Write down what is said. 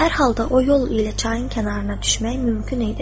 Hər halda o yol ilə çayın kənarına düşmək mümkün idi.